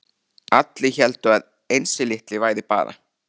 Allir héldu að Einsi litli væri bara